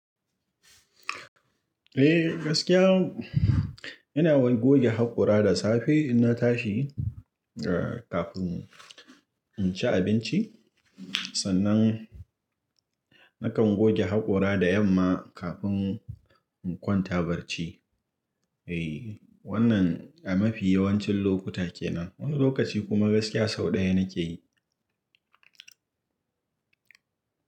Eh gaskiya ina goge hakora da safe inna tashi kafin in ci abinci sannan nakan goge hakora da yamma kafin in kwanta barci. Wannan a mafi yawancin lokuta kenan wani lokaci kuma gaskiya sau ɗaya nake yi.